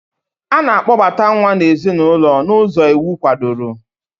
A na-akpobata nwa n'ezinụlọ n'ụzọ iwu kwadoro.